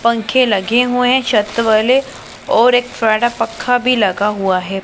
पंखे लगे हुएं हैं छत वाले और एक पक्खा भी लगा हुआ है।